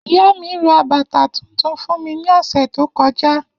Iya mi ra bata tuntun fun mi ni ọsẹ to kọja.